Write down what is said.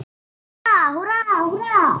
Húrra, húrra, húrra!